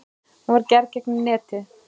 Hún var gerð gegnum netið.